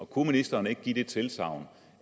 kunne ministeren ikke give det tilsagn